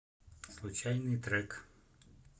случайный трек